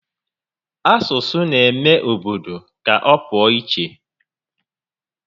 Asụsụ n'eme obodo ka ọ pụọ íchè